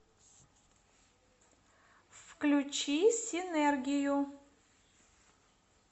включи синергию